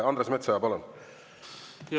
Andres Metsoja, palun!